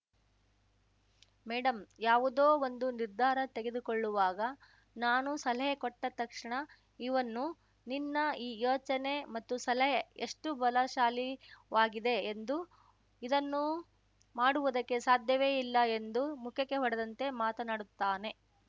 madam ಯಾವುದೋ ಒಂದು ನಿರ್ಧಾರ ತೆಗೆದುಕೊಳ್ಳುವಾಗ ನಾನು ಸಲಹೆ ಕೊಟ್ಟತಕ್ಷಣ ಇವನ್ನು ನಿನ್ನ ಈ ಯೋಚನೆಮತ್ತು ಸಲಹೆ ಎಷ್ಟುಬಲಶಾಲಿವಾಗಿದೆಎಂದು ಇದನ್ನು ಮಾಡುವುದಕ್ಕೆ ಸಾಧ್ಯವೇ ಇಲ್ಲಎಂದು ಮುಖಕ್ಕೆ ಹೊಡೆದಂತೆ ಮಾತನಾಡುತ್ತಾನೆ